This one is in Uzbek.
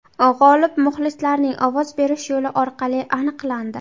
G‘olib muxlislarning ovoz berish yo‘li orqali aniqlandi.